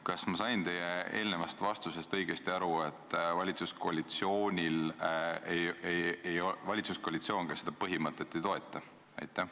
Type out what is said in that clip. Kas ma sain teie eelnevast vastusest õigesti aru, et valitsuskoalitsioon seda põhimõtet ei toeta?